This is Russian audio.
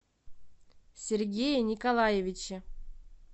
сергее николаевиче